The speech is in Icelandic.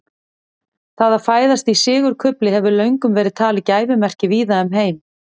það að fæðast í sigurkufli hefur löngum verið talið gæfumerki víða um heim